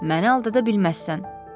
Məni aldada bilməzsən.